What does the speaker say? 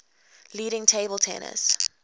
leading table tennis